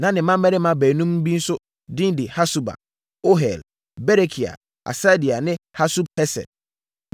Na ne mmammarima baanum bi nso din ne Hasuba, Ohel, Berekia, Hasadia ne Yusab-Hesed.